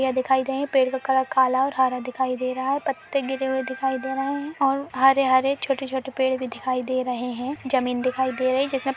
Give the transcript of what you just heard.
यह दिखाई दे रहा है पेड़ का कलर काला और हरा दिखाई दे रहा है | पत्ते गिरे हुए दिखाई दे रहे हैं और हरे- हरेछोटे-छोटे पेड़ भी दिखाई दे रहे हैं | ज़मीन दिखाई दे रही है जिसमे --